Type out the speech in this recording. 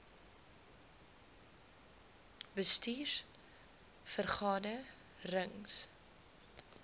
bestuurs vergade rings